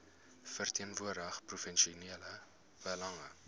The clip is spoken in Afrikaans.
verteenwoordig provinsiale belange